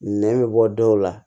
Nɛ bɛ bɔ dɔw la